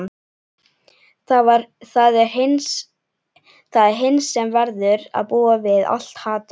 Það er hinn sem verður að búa við allt hatrið.